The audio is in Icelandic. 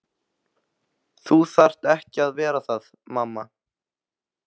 Þú þarft ekki að vera það mamma.